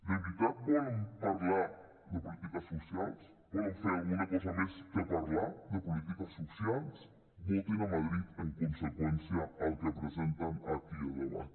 de veritat volen parlar de polítiques socials volen fer alguna cosa més que parlar de polítiques socials votin a madrid en conseqüència al que presenten aquí a debat